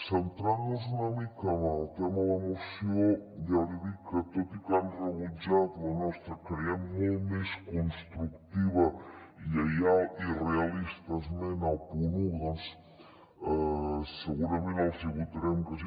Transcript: centrant nos una mica en el tema de la moció ja li dic que tot i que han rebutjat la nostra creiem que molt més constructiva lleial i realista esmena al punt un segurament els hi votarem que sí